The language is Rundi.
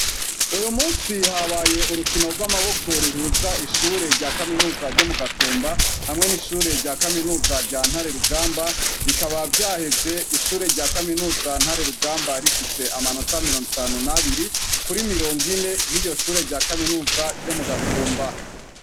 Uyu musi ihabaye urukino rw'amaboko ruhuza ishure rya kaminuza ryo mu gatumba hamwe n'ishure rya kaminuza rya ntare rugamba bikaba vyaheze ishure rya kaminuza ntare rugamba rifise amanota mirongo itanu n'abiri kuri mirongo ine ry'iyo shure rya kaminuza ryo mu gatumba.